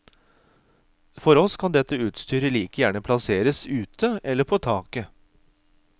For oss kan dette utstyret like gjerne plasseres ute eller på taket.